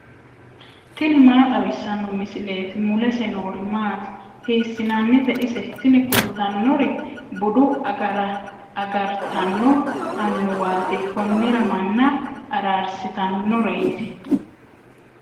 tini maa xawissanno misileeti ? mulese noori maati ? hiissinannite ise ? tini kultannori bude agartanno annuwaati. konnira manna araarsitannoreeti.